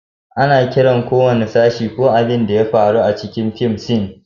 Ana kiran ko wani sashi ko abin da ya faru a cikin fim "scene."